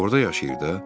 Orda yaşayırdı.